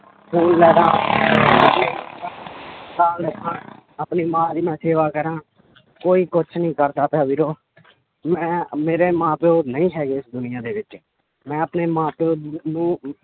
phone ਲੈ ਦੇਵਾਂ ਆਪਣੀ ਮਾਂ ਦੀ ਮੈਂ ਸੇਵਾ ਕਰਾਂ ਕੋਈ ਕੁਛ ਨੀ ਕਰਦਾ ਪਿਆ ਵੀਰੋ ਮੈਂ ਮੇਰੇ ਮਾਂ ਪਿਓ ਨਹੀਂ ਹੈਗੇ ਇਸ ਦੁਨੀਆਂ ਦੇ ਵਿੱਚ ਮੈਂ ਆਪਣੇ ਮਾਂ ਪਿਓ ਨੂੰ